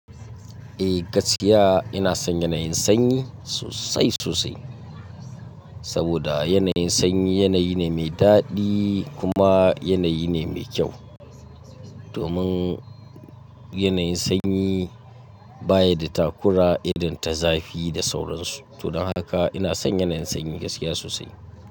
Eh gaskiya ina son yanayin sanyi sosai sosai. Saboda yanayin sanyi yanayi ne mai daɗi kuma yanayi ne mai kyau. Domin yanayin sanyi baya da takura, idon ta zafi da sauransu. Don haka ina son yanayin sanyi gaskiya sosai.